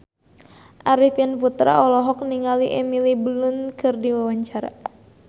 Arifin Putra olohok ningali Emily Blunt keur diwawancara